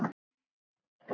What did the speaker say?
Bíður færis.